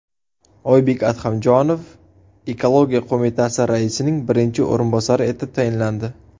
Oybek Adhamjonov ekologiya qo‘mitasi raisining birinchi o‘rinbosari etib tayinlandi.